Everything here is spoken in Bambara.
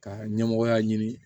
Ka ɲɛmɔgɔya ɲini